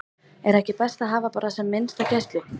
Er ekki best að hafa bara sem minnsta gæslu?